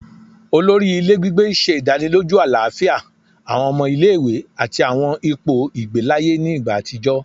Olori ile gbigbe ṣe idaniloju alafia awọn ọmọ ile-iwe ati awọn ipo igbe laaye ni igba atijọ